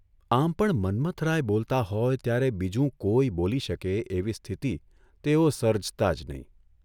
આમ પણ મન્મથરાય બોલતા હોય ત્યારે બીજું કોઇ બોલી શકે એવી સ્થિતિ તેઓ સર્જતા જ નહીં !